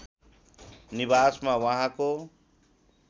निवासमा उहाँको